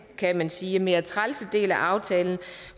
kan sige mere trælse del af aftalen